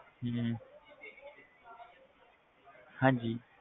ਹਮ ਹਾਂਜੀ